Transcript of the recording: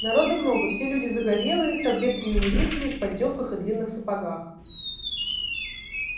народу много все люди загорелые с обветренными лицами в поддёвках и длинных сапогах